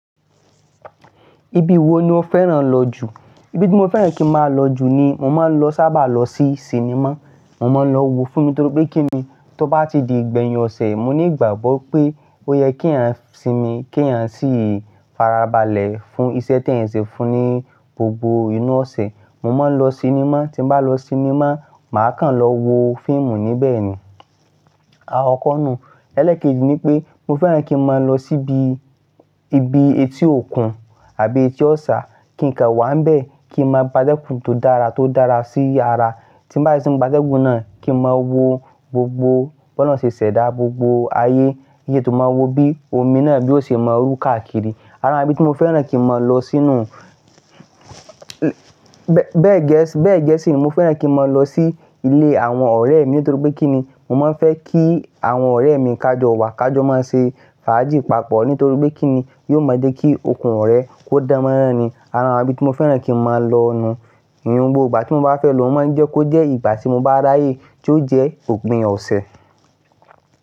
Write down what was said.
Ibi wo ni o fẹ́ràn lọ jù? Ibi tí mo fẹ́ràn kí ń máa lọ jù ni mo máa ń lọ sábà lọ sí sinimá. Mo máa ń lọ wo fíìmù nítorí pé kí ni, tó bá ti di ìgbẹ̀yìn ọ̀sẹ̀, mo ní ìgbàgbọ́ pé ó yẹ kí eeyan sinmi, kí eeyan sì farabalẹ̀ fún iṣẹ́ tí ẹ̀eyan ṣe fún ní gbogbo inú ọ̀sẹ̀. Mo máa ń lọ sinimá, tí mo bá lọ sinimá, màá kàn lọ wo fíìmù níbẹ̀ ni. Àkòkọ̀ nú, ẹlẹ́kẹ́ẹ̀ji ni pé mo fẹ́ràn kí ń máa lọ síbi, ibi etí òkun àbí etí ọ̀sá, kí n kà wá ńbẹ̀ kí ń máa gba dẹ́kun tó dára, tó dára sí ara. Tí bá si ti ń gba tẹ́gun náà, kí ń máa wo gbogbo, b'oloun ṣe ṣẹ̀dá gbogbo ayé, kí n tó máa wo bí omi náà bí ó ṣe máa rú káàkiri. Ara ibí tí mo fẹ́ràn kí ń máa lọ sí nú, bẹ́ẹ̀ gẹ́ẹ̀sì, bẹ́ẹ̀ gẹ́ẹ̀sì ni mo fẹ́ràn kí ń máa lọ sí ilé àwọn ọ̀rẹ́ mi nítorí pé kí ni, mo máa ń fẹ́ kí àwọn ọ̀rẹ́ mi kájọ wa, kájọ máa ń ṣe fàájì papọ̀ nítorí pé kí ni, yóò mọ dé kí okun ọ̀rẹ́ kó dán mọ́rán ni. Ara ibí tí mo fẹ́ràn kí ń máa lọ nu. Ìyùn gbo ìgbà tí mo bá fẹ́ lọ, ó máa ń jẹ́ kó jẹ́ ìgbà tí mo bá ráyè ti ó jẹ́ òpin ọ̀sẹ̀.